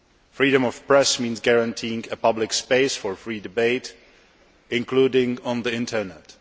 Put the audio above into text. Freedom of the press means guaranteeing a public space for free debate, including on the Internet.